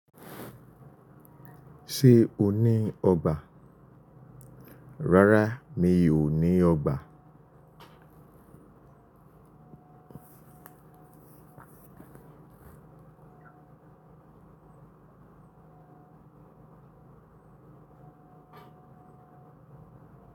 Ṣé o ní ọgbà? Rárá mi ò ní ọgbà.